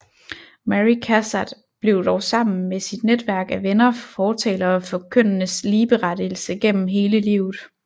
Mary Cassatt blev dog sammen med sit netværk af venner fortalere for kønnenes ligeberettigelse gennem hele livet